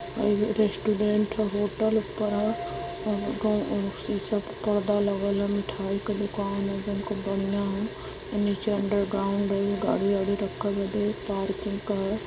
हइ रेस्टोरेंट ह होटल ऊपर ह शीशा पे पर्दा लगल ह। मिठाई का दुकान ह जउन खूब बढ़ियां ह। नीचे अंडरग्राउंड है। गाड़ी वाड़ी राखल बाटे पार्किंग का ह।